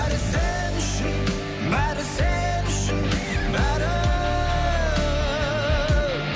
бәрі сен үшін бәрі сен үшін бәрі